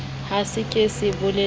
ha ke se ke boletse